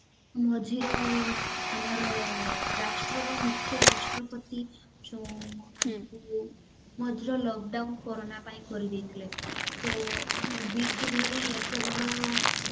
ମଝିର ଆମର ରାଷ୍ଟ୍ରର ମୁଖ୍ୟ ରାଷ୍ଟ୍ରପତି ଯୋଉ ମଝିରେ lock down କୋରନା ପାଇଁ କରିଦେଇଥିଲେ ତ ଭଳି ଏତେ ବଡ